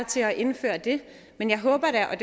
til at indføre det men jeg håber da at